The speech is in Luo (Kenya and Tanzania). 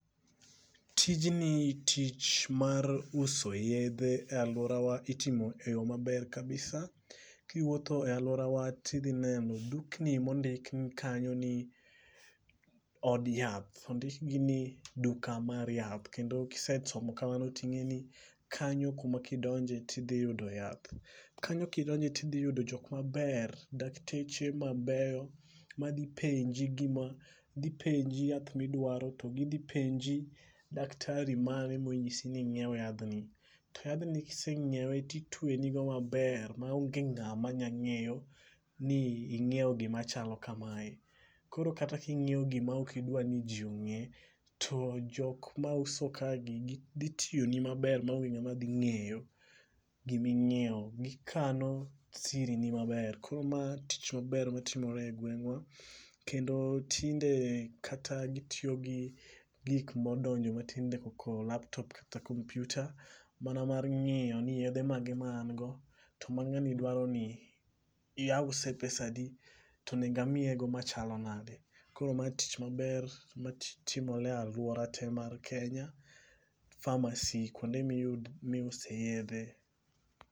Tijni tich mar uso yedhe e aluorawa itimo e yoo maber kabisa .Kiwuotho e luorawa tidhi neno dukni mondikni kanyo ni od yath ondik gi ni duka mar yath, kendo kisesomo kamano ting'e ni kanyo kuma kidonje tidhi yudo yath. Kanyo kiyudo tidhi yudo jok maber dakteche ma beyo ma dhi penjo gima dhi penji yath midwaro to gidhi penji daktari mane monyisi ni nyiew yadhno. Yadhno kisenyiewe titweni go maber ma onge ngama nya ng'eyo ni inyiewo gima chalo kamae koro kata kinyiewo gima ok idwa ni jii ong'e to jok mauso kae ni dhi tweni maber ma onge ngama dhi ng'eyo gima inyiewo gikano siri ni maber . Koro ma tich maber matimor e gweng'wa kata tinde gitiyo gi gi modonjo kata laptop kata komputa mar ng'iyo ni yedhe mage ma an go to ma ng'ani dwaro ni ause pesadi to onego amiye go machalo nade . Koro ma tich maber matimore e aluora tee mar kenya pharmacy kuonde miuse yedhe.